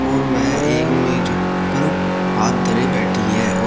और वह एक मेज पर हाथ धरे बैठी है।